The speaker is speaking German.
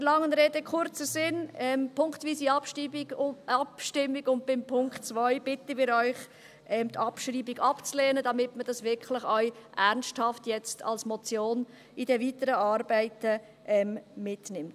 Der langen Rede kurzer Sinn: Punktweise Abstimmung und bei Punkt 2 bitten wir Sie, die Abschreibung abzulehnen, damit man dies jetzt wirklich auch ernsthaft als Motion in den weiteren Arbeiten mitnimmt.